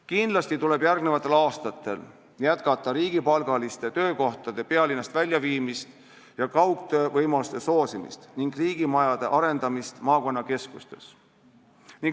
Kindlasti tuleb järgmistel aastatel jätkata riigipalgaliste töökohtade pealinnast väljaviimist ja kaugtöövõimaluste soosimist, samuti riigimajade arendamist maakonnakeskustes.